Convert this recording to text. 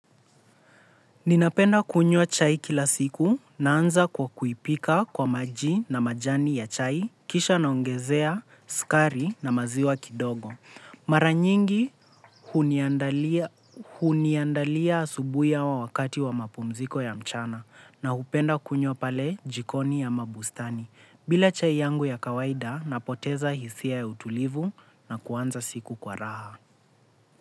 Ninapenda kunywa chai kila siku. Naanza kwa kuipika kwa maji na majani ya chai, kisha naongezea, sukari na maziwa kidogo. Mara nyingi huniandalia huniandalia asubuhi au wakati wa mapumziko ya mchana na hupenda kunywa pale jikoni ya mabustani. Bila chai yangu ya kawaida napoteza hisia ya utulivu na kuanza siku kwa raha.